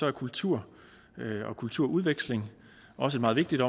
er kultur og kulturudveksling også meget vigtigt